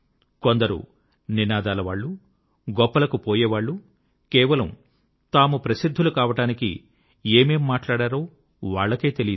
కొందరు నినాదాలవాళ్ళు గొప్పలకు పోయేవాళ్ళు కేవలం తాము ప్రసిద్ధులు కావడానికి ఏమేం మాట్లాడారో వాళ్ళకే తెలీదు